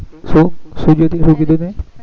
શું શું શું કીધું કીધું તે